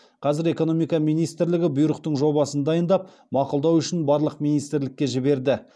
қазір экономика министрлігі бұйрықтың жобасын дайындап мақұлдау үшін барлық министрлікке жіберді